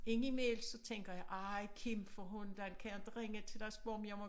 Ind i mellem så tænker jeg ej Kim for hundan kan jeg inte ringe til dig og spørge om jeg må